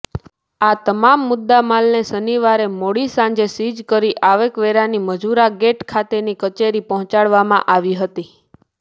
આ તમામ મુદ્દામાલને શનિવારે મોડી સાંજે સીઝ કરી આવકવેરાની મજૂરાગેટ ખાતેની કચેરી પહોંચાડવામાં આવી હતી